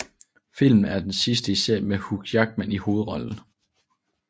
Filmen er den sidste i serien med Hugh Jackman i hovedrollen